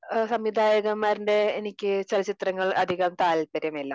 സംവിധായകന്മാരുടെ എനിക്ക് ചലചിത്രങ്ങൾ അധികം താല്പര്യം ഇല്ല